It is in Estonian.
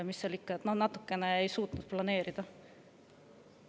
Mis seal ikka, me natukene ei suutnud planeerida.